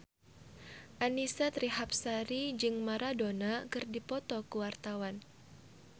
Annisa Trihapsari jeung Maradona keur dipoto ku wartawan